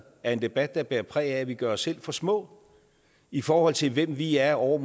er en debat der bærer præg af at vi gør os selv for små i forhold til hvem vi er over